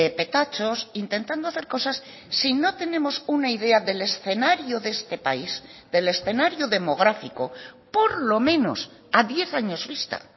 petachos intentando hacer cosas si no tenemos una idea del escenario de este país del escenario demográfico por lo menos a diez años vista